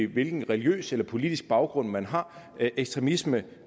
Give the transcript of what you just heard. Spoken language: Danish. hvilken religiøs eller politisk baggrund man har ekstremisme